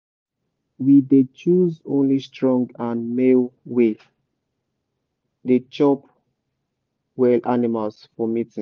we dey choose only strong and male way dey chop well animals for mating.